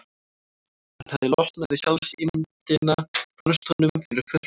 Hann hafði losnað við sjálfsímyndina, fannst honum, fyrir fullt og allt.